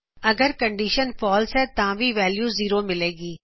ਅਗਰ condition false ਹੈ ਤਾ ਵੀ ਵੈਲਯੂ ਜ਼ੀਰੋ ਹੀ ਮਿਲੇਗੀ